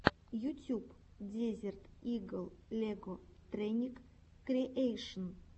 ютюб дезерт игл лего текник криэйшн